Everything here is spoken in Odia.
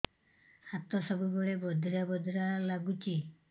ହାତ ସବୁବେଳେ ବଧିରା ବଧିରା ଲାଗୁଚି